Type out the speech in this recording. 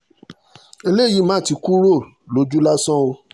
eléyìí mà ti kúrò lójú lásán o